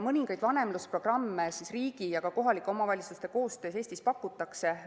Mõningaid vanemlusprogramme riigi ja kohalike omavalitsuste koostöös Eestis pakutakse.